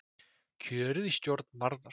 Kjörið í stjórn Varðar